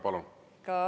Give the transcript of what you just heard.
Palun!